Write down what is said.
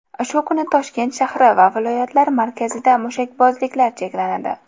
Shu kuni Toshkent shahri va viloyatlar markazida mushakbozliklar cheklanadi.